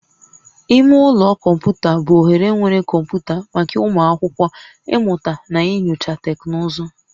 Ime ụlọ kọmputa bụ ohere nwere kọmputa maka ụmụ akwụkwọ ịmụta na inyocha teknụzụ